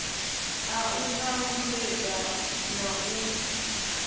a u talutshedza na u